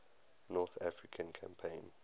north african campaign